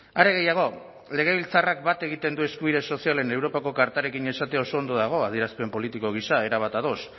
are gehiago legebiltzarrak bat egiten du eskubide sozialen europako kartarekin esatea oso ondo dago adierazpen politiko gisa erabat ados